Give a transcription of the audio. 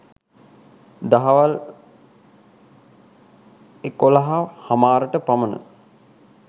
දහවල් එකොලහ හමාරට පමණ